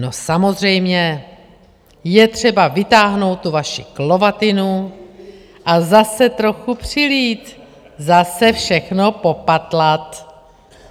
No samozřejmě, je třeba vytáhnout tu vaši klovatinu a zase trochu přilít, zase všechno popatlat.